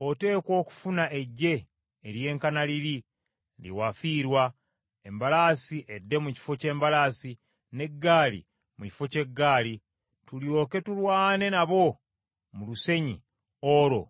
Oteekwa okufuna eggye ery’enkana liri lye wafiirwa, embalaasi edde mu kifo ky’embalaasi, n’eggaali mu kifo ky’eggaali, tulyoke tulwane nabo mu lusenyi, olwo